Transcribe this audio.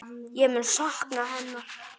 Ég mun sakna hennar.